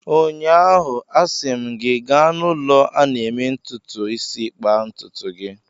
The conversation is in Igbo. Ụnyaahụ, a sị m gị, gaa n'ụlọ a na-eme ntụtụ isi kpaa ntụtụ gị!